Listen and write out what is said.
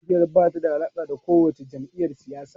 Ƙungiyar ba ta da alaƙa da kowace jam’iyyar siyasa.